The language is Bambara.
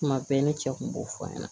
Tuma bɛɛ ne cɛ kun b'o fɔ n ɲɛna